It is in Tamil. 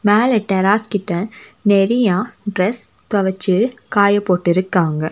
மேல ட்டிராஸ் கிட்ட நெறையா டிரஸ் துவைச்சு காய போட்டு இருக்காங்க.